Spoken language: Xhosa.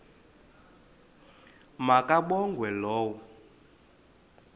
ma kabongwe low